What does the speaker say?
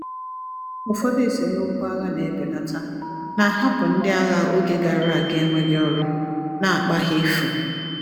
Ụfọdụ esemokwu agha na-ebelata, na-ahapụ ndị agha oge gara aga enweghị ọrụ, na akpa ha efu.